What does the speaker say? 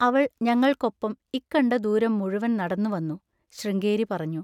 അവൾ ഞങ്ങൾക്കൊപ്പം ഇക്കണ്ട ദൂരം മുഴുവൻ നടന്നുവന്നു, ശൃംഗേരി പറഞ്ഞു.